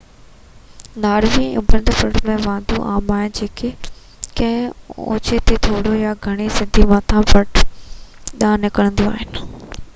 Norway ۾ اُڀيون fjords ۽ واديون عام آهن جيڪي ڪنهن اوچي ۽ ٿوري يا گهڻي سڌي مٿانهين پٽ ڏانهن نڪرنديون آهن